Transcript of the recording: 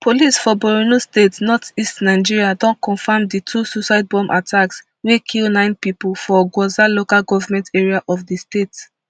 police for borno state northeast nigeria don confam di two suicide bomb attacks wey kill nine pipo for gwoza local goment area of di state